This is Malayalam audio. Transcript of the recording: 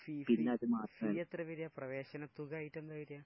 ഫീസ്? ഫീ എത്ര വരിക? പ്രവേശനത്തുക ആയിട്ടെന്താ വരിക?